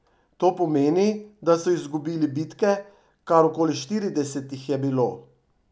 To pomeni, da so izgubili bitke, kar okoli štirideset jih je bilo.